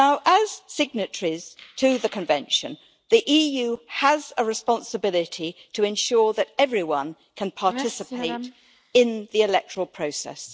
As signatories to the Convention, the EU has a responsibility to ensure that everyone can participate in the electoral process.